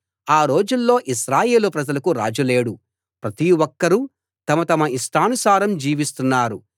ఆ రోజుల్లో ఇశ్రాయేలు ప్రజలకు రాజు లేడు ప్రతి ఒక్కరూ తమ తమ ఇష్టానుసారం జీవిస్తున్నారు